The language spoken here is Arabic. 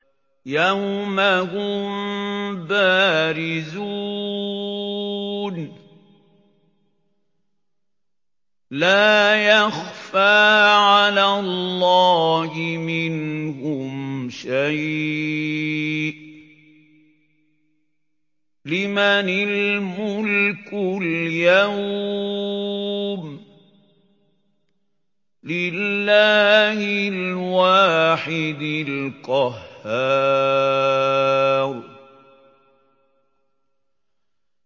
يَوْمَ هُم بَارِزُونَ ۖ لَا يَخْفَىٰ عَلَى اللَّهِ مِنْهُمْ شَيْءٌ ۚ لِّمَنِ الْمُلْكُ الْيَوْمَ ۖ لِلَّهِ الْوَاحِدِ الْقَهَّارِ